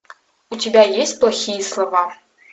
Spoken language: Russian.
у тебя есть плохие слова